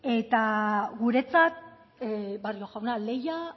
eta guretzat barrio jauna lehia